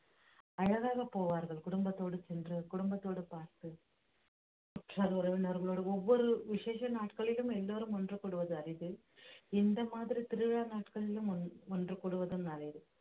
அழகாகப் போவார்கள் குடும்பத்தோடு சென்று குடும்பத்தோடு பார்த்து உற்றார் உறவினர்களோடு ஒவ்வொரு விசேஷ நாட்களிலும் எல்லாரும் ஒன்று கூடுவது அரிது இந்த மாதிரி திருவிழா நாட்களிலும் ஒன்~ ஒன்று கூடுவதும் நல்லது